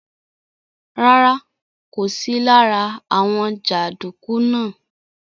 Rárá, kò sí lára àwọn jàǹdùkú náà.